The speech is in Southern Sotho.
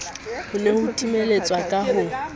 ne ho timetswa ka ho